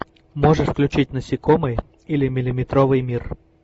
можешь включить насекомые или миллиметровый мир